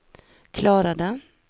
klarade